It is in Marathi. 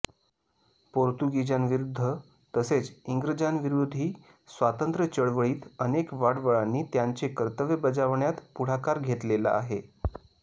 पोर्तुगीजांविरुद्ध तसेच इंग्रजांविरोधी स्वातंत्र्यचळवळीत अनेक वाडवळांनी त्यांचे कर्तव्य बजावण्यात पुढाकार घेतलेला आहे